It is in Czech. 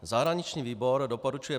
Zahraniční výbor doporučuje